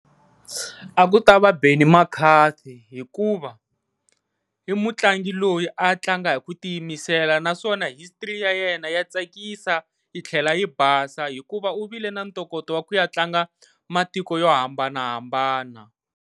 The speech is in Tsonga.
A ku ta va Benny McCarthy hikuva i mutlangi loyi a tlanga hi ku tiyimisela naswona history ya yena ya tsakisa yi tlhela yi basa hikuva u vile na ntokoto ya ku ya tlanga matiko yo hambanahambana.